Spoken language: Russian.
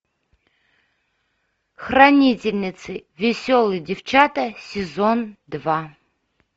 хранительницы веселые девчата сезон два